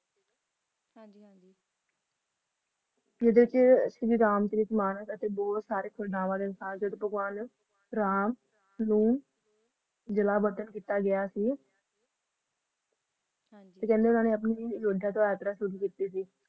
ਜਿੱਡੇ ਚ ਸ਼੍ਰੀ ਰਾਮ ਸੀ ਮਾਣਕ ਜਦੋ ਭਗਵਾਨ ਰਾਮ ਨੂੰ ਜਿ ਲਾ ਸੀ ਫਿਰ ਆਪਣੀ ਉਨ੍ਹਾਂ ਨੇ ਨੂਰਵਾ ਡੁੱਗਰਾ ਖੁਦ ਕਿੱਤੀ ਸੀ